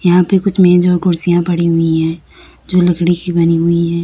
यहां पर कुछ मेज और कुर्सियां पड़ी हुई है जो लकड़ी की बनी हुई है।